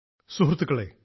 സുഹൃത്തുക്കളേ